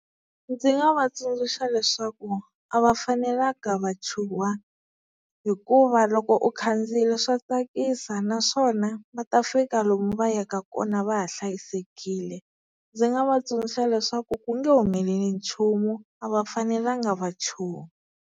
Ndzi nga va tsundzuxa leswaku a va fanelanga va chuha, hikuva loko u khandziyile swa tsakisa naswona va ta fika lomu va yaka kona va ha hlayisekile. Ndzi nga va tsundzuxa leswaku ku nge humeleli nchumu a va fanelanga va chuha.